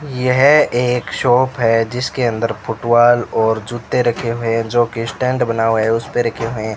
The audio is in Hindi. यह एक शॉप है जिसके अंदर फुटबॉल और जूते रखे हुए है जो की स्टैंड बना हुआ है उसपे रखे हुए --